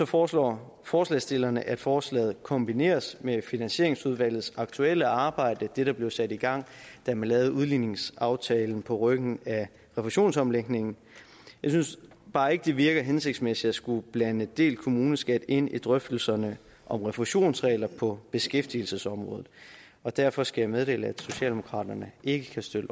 foreslår forslagsstillerne at forslaget kombineres med finansieringsudvalgets aktuelle arbejde det der blev sat i gang da man lavede udligningsaftalen på ryggen af refusionsomlægningen jeg synes bare ikke det virker hensigtsmæssigt at skulle blande delt kommuneskat ind i drøftelserne om refusionsregler på beskæftigelsesområdet derfor skal jeg meddele at socialdemokraterne ikke kan støtte